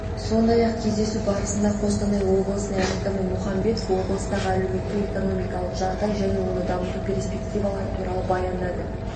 сондай-ақ кездесу барысында қостанай облысының әкімі мұхамбетов облыстағы әлеуметтік-экономикалық жағдай және оны дамыту перспективалары туралы баяндады